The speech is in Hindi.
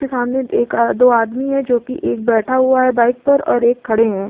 सामने एक दो आदमी हैं जोकि एक बैठा हुवा है बाइक पर और एक खड़े है।